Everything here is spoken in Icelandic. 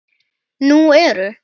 Nú eru